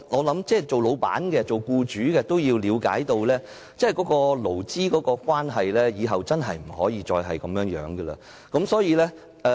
同時僱主亦需要了解到，日後勞資關係真的不能再是這樣的狀況。